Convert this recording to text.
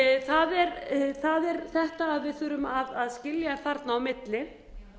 dag það er þetta að við þurfum að skilja þarna á milli